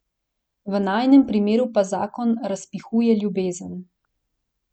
V najinem primeru pa zakon razpihuje ljubezen.